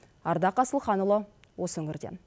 ардақ асылханұлы осы өңірден